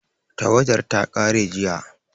Tawadar ta ƙare jiya